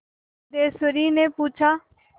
सिद्धेश्वरीने पूछा